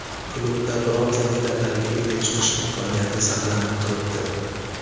Klubda bronza medallariga ega chiqish imkoniyati saqlanib turibdi.